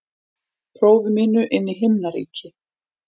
prófi mínu inn í himnaríki.